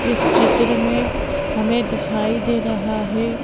इस चित्र में हमें दिखाई दे रहा है।